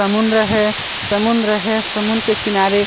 समुन्द्र है समुन्द्र है समुन्द्र के किनारे --